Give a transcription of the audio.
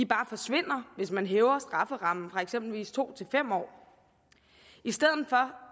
bare forsvinder hvis man hæver strafferammen fra eksempelvis to til fem år i stedet for